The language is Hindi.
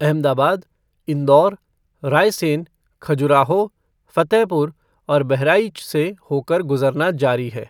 अहमदाबाद, इंदौर, रायसेन, खजुराहो, फतेहपुर और बहराइच से होकर गुजरना जारी है।